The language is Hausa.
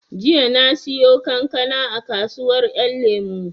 Jiya na siyo kankana a kasuwar ƴan lemo